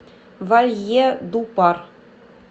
вальедупар